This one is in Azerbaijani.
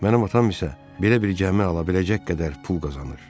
Mənim atam isə belə bir gəmi ala biləcək qədər pul qazanır.